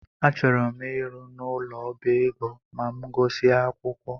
Achọrọ m ịrụ n'ụlọ ọbá ego ma m gusia akwụkwọ